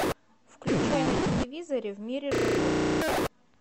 включай на телевизоре в мире животных